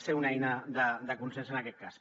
ser una eina de consens en aquest cas